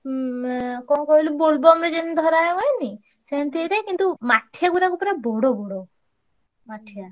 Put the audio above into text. ଉଁ~ କଣ କହିଲୁ ବୋଲବମରେ ଯେମିତି ଧରାହୁଏନି? ସେମତି ହେଇଥାଏ କିନ୍ତୁ ମା ~ଠିଆ ଗୁଡାକ ପୁରା ବଡ ବଡ ମାଠିଆ।